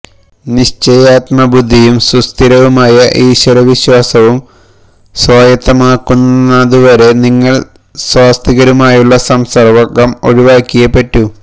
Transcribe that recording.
നിശ്ചയാത്മബുദ്ധിയും സുസ്ഥിരവുമായ ഈശ്വരവിശ്വാസവും സ്വായത്തമാകുന്നതുവരെ നിങ്ങള് നാസ്തികരുമായുള്ള സംസര്ഗ്ഗം ഒഴിവാക്കിയേ പറ്റൂ